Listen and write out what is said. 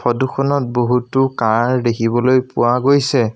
Photo খনত বহুতো কাৰ দেখিবলৈ পোৱা গৈছে।